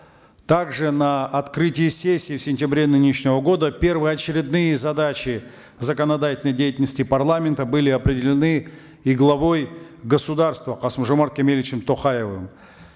также на открытии сессии в сентябре нынешнего года первоочередные задачи законодательной деятельности парламента были определены и главой государства касым жомарт кемелевичем токаевым